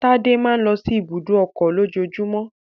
Tádé máa ń lọ sí ibùdó ọkọ̀ lójoojúmọ́